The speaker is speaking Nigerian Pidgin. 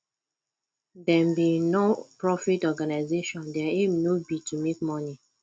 dem be noprofit organisation their aim no be to make money